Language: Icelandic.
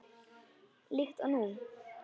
Líkt og nú.